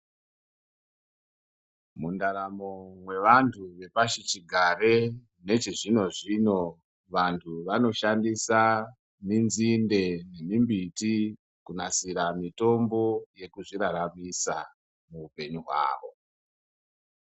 Mundaramo mwevantu vepashichigare nechizvino zvino vantu vanoshandisa minzinde yemimbiti kunasira mitombo yekuzviraramisa muupenyu hwavo.